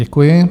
Děkuji.